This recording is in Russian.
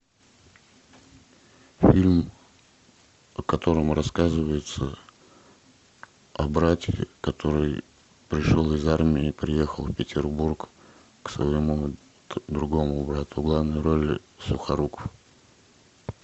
фильм в котором рассказывается о брате который пришел из армии приехал в петербург к своему другому брату в главной роли сухоруков